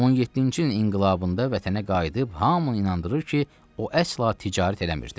17-ci ilin inqilabında vətənə qayıdıb hamını inandırır ki, o əsla ticarət eləmirdi.